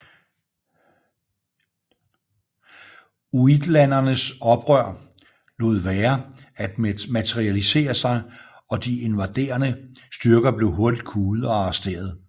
Uitlandernes oprør lod være at materialisere sig og de invaderende styrker blev hurtigt kuet og arresteret